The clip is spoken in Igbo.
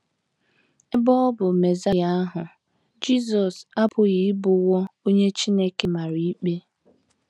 Ebe ọ bụ Mesaịa ahụ, Jisọs apụghị ịbụwo onye Chineke mara ikpe.